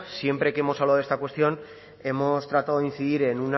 siempre que hemos hablado de esta cuestión hemos tratado de incidir